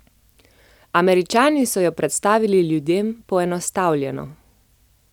Američani so jo predstavili ljudem poenostavljeno.